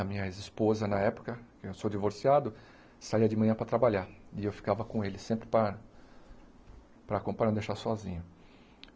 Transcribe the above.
A minha ex-esposa, na época, eu sou divorciado, saia de manhã para trabalhar e eu ficava com ele, sempre para para acompanhar, não deixar sozinho.